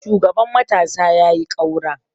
shugaban matasa ya yi kaura!